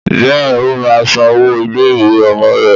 Bẹ́ẹ̀ni ó máa san owó ilé ìwé ọmọ rè